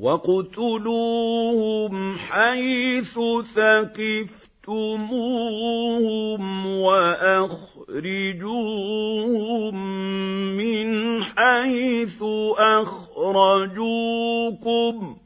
وَاقْتُلُوهُمْ حَيْثُ ثَقِفْتُمُوهُمْ وَأَخْرِجُوهُم مِّنْ حَيْثُ أَخْرَجُوكُمْ ۚ